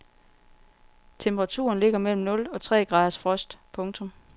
Temperaturen ligger mellem nul og tre graders frost. punktum